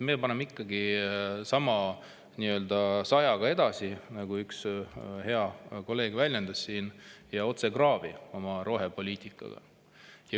Meie paneme ikkagi nii-öelda sajaga edasi, nagu üks hea kolleeg siin väljendas, ja otse kraavi oma rohepoliitikaga.